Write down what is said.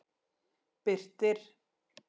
Birtir